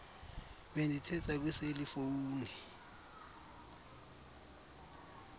bendithetha kwiseli fowuni